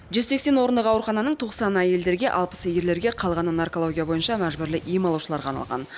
жүз сексен орындық аурухананың тоқсаны әйелдерге алпысы ерлерге қалғаны наркология бойынша мәжбүрлі ем алушыларға арналған